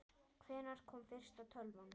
Hvenær kom fyrsta tölvan?